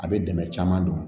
A bɛ dɛmɛ caman don